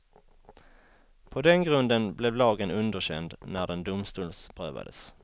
På den grunden blev lagen underkänd när den domstolsprövades.